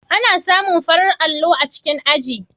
Ana samun farar allo a cikin aji.